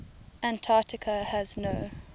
antarctica has no